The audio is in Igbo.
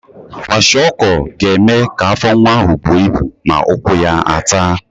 Kwashiọkọ ga-eme ka afọ nwa ahụ buo ibu ma ụkwụ ya a taa.